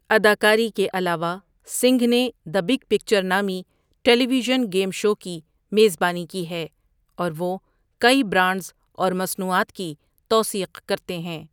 اداکاری کے علاوہ، سنگھ نے دی بگ پکچر نامی ٹیلی ویژن گیم شو کی میزبانی کی ہے اور وہ کئی برانڈز اور مصنوعات کی توثیق کرتے ہیں۔